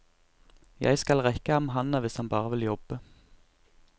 Jeg skal rekke ham handa, hvis han bare vil jobbe.